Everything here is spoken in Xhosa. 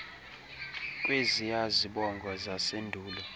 kweziya zibongo zasendulo